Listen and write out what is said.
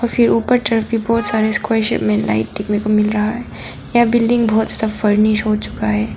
और फिर उपर चढ़के बहोत सारे स्क्वेयर शेप लाइट देखने को मील रहा है यह बिल्डिंग बहोत ज्यादा फर्निश हो चुका है।